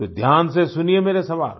तो ध्यान से सुनिए मेरे सवाल